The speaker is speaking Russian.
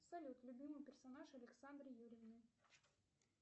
салют любимый персонаж александры юрьевны